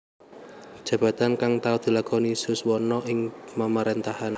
Jabatan kang tau dilakoni Suswono ing Pamaréntahan